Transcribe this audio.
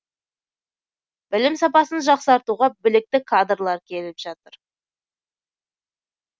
білім сапасын жақсартуға білікті кадрлар келіп жатыр